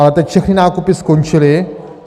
Ale teď všechny nákupy skončily.